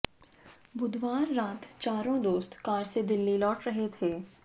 बुधवार रात चारों दोस्त कार से दिल्ली लौट रहे थे